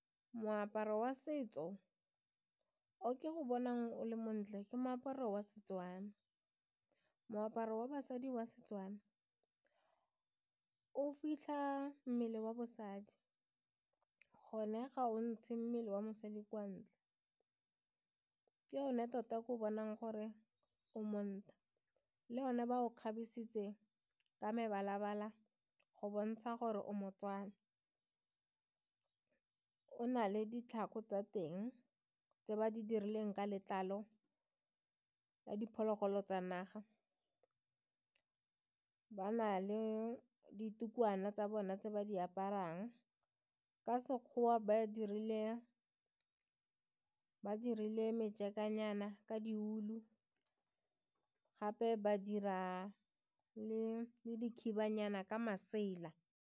Moaparo wa setso o ke go bonang o le montle ke moaparo wa Setswana, moaparo wa basadi wa Setswana o fitlha mmele wa bosadi, gone ga o ntshe mmele wa mosadi kwa ntle ke yone tota ko bonang gore o monna le one ba o kgabisitse ka mebala-bala go bontsha gore o mo-Tswana ka o na le ditlhako tsa teng tse ba di dirileng ka letlalo la diphologolo tsa naga. Ba na le ditukwana tsa bona tse ba di aparang ka Sekgowa ba dirile ka di ulu gape ba dira le dikhibanyana ka masela.